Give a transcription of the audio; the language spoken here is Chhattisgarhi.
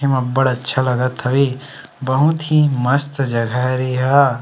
एमा अब्बड़ अच्छा लगत हवे बहुत ही मस्त जगह हरे ए ह।